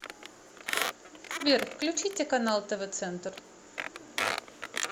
сбер включите канал тв центр